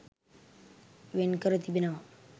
වෙන්කර තිබෙනවා.